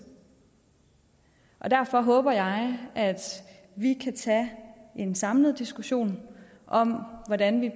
derfor håber jeg at vi kan tage en samlet diskussion om hvordan vi